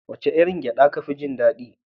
Wace irin gyaɗa kafi jin daɗi?